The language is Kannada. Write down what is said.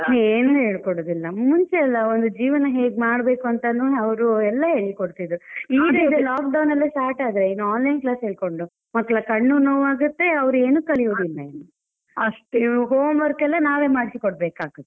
ಏನು ಹೇಳಿಕೊಡುದಿಲ್ಲ. ಮುಂಚೆ ಎಲ್ಲ ಒಂದು ಜೀವನ ಹೇಗೆ ಮಾಡಬೇಕು ಅಂತಾನೂ ಅವ್ರು ಎಲ್ಲಾ ಹೇಳಿ ಕೊಡ್ತಿದ್ರು. ಈ ರೀತಿ lock down ಯೆಲ್ಲ start ಆದ್ರೆ ಇನ್ನು online class ಹೇಳ್ಕೊಂಡು ಮತ್ತೆ ಮಕ್ಳ ಕಣ್ಣು ನೋವು ಆಗುತ್ತೆ ಅವ್ರು ಏನು ಕಲಿಯುವುದಿಲ್ಲ home work ಯೆಲ್ಲ, ನಾವೇ ಮಾಡ್ಸಿ ಕೊಡಬೇಕಾಗತ್ತೆ.